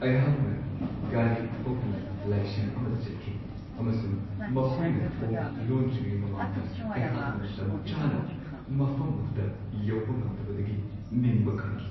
ꯑꯩꯍꯥꯛꯅ ꯒꯥꯔꯤ ꯊꯧꯗꯨꯅ ꯂꯥꯏꯁꯪ ꯑꯃꯗ ꯆꯠꯈꯤ ꯑꯃꯁꯨꯡ ꯃꯈꯣꯏꯅ ꯊꯣꯡ ꯂꯣꯟꯗ꯭ꯔꯤꯉꯩ ꯃꯃꯥꯡꯗ ꯑꯩꯍꯥꯛꯅ ꯃꯇꯝꯆꯥꯅ ꯃꯐꯝ ꯑꯗꯨꯗ ꯌꯧꯕ ꯉꯝꯗꯕꯗꯒꯤ ꯅꯤꯡꯕ ꯀꯥꯏꯈꯤ ꯫